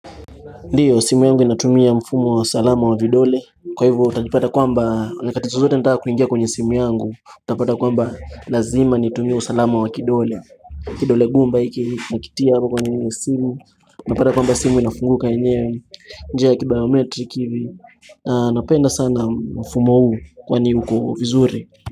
Ndiyo, simu yangu inatumia mfumo wa usalama wa vidole. Kwa hivyo, utajipata kwamba, nyakati zozote nataka kuingia kwenye simu yangu. Utapata kwamba, lazima nitumie usalama wa kidole. Kidole gumba hiki nakitia hapa kwenye simu. Unapata kwamba simu inafunguka yenyewe. Njia ya kibayometreki hivi. Napenda sana mfumo huu kwani uko vizuri.